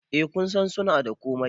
Eh kusan suna da komai